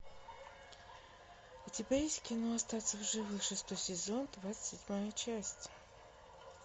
у тебя есть кино остаться в живых шестой сезон двадцать седьмая часть